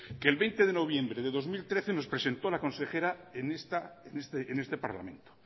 que el veinte de noviembre del dos mil trece nos presentó la consejera en este parlamento